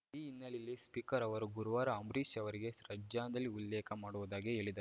ಈ ಹಿನ್ನೆಲೆಯಲ್ಲಿ ಸ್ಪೀಕರ್‌ ಅವರು ಗುರುವಾರ ಅಂಬರೀಷ್‌ ಅವರಿಗೆ ಶ್ರದ್ಧಾಂಜಲಿ ಉಲ್ಲೇಖ ಮಾಡುವುದಾಗಿ ಹೇಳಿದ್